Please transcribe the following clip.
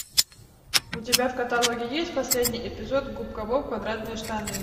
у тебя в каталоге есть последний эпизод губка боб квадратные штаны